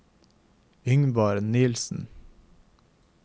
Yngvar Nielsen